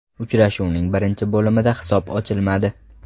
Uchrashuvning birinchi bo‘limda hisob ochilmadi.